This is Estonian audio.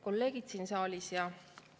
Kolleegid siin saalis!